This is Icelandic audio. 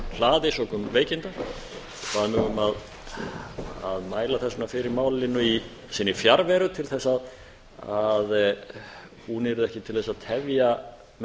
hlaði sökum veikinda bað mig um að má þess vegna fyrir málinu í sinni fjarveru til að hún yrði ekki til að tefja með